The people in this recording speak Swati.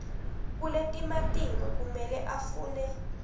kuletimatima kumele afune